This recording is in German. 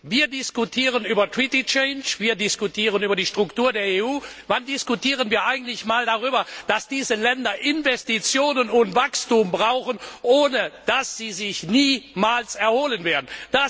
Wir diskutieren über Vertragsänderungen, über die Struktur der EU wann diskutieren wir eigentlich mal darüber, dass diese Länder Investitionen und Wachstum brauchen, ohne das sie sich niemals erholen werden?